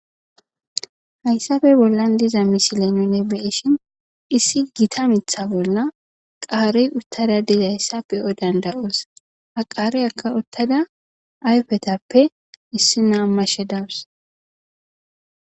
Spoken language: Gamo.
hayssafe bollan diza misile nune beishin issi gita mitha bolla qaare uttada dizayssa pe7o danda7oos ha qaare akka uttada ayfetappe issi naa mashe dawus